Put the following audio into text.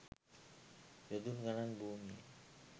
යොදුන් ගණන් භූමිය